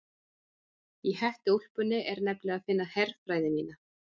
Í hettuúlpunni er nefnilega að finna herfræði mína.